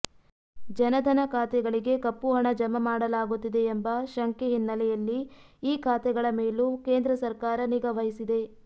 ಜನಧನ ಖಾತೆಗಳಿಗೆ ಕಪ್ಪುಹಣ ಜಮಾ ಮಾಡಲಾಗುತ್ತಿದೆ ಎಂಬ ಶಂಕೆ ಹಿನ್ನೆಲೆಯಲ್ಲಿ ಈ ಖಾತೆಗಳ ಮೇಲೂ ಕೇಂದ್ರ ಸರ್ಕಾರ ನಿಗಾವಹಿಸಿದೆ